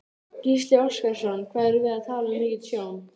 Gísli Óskarsson: Hvað erum við að tala um mikið tjón?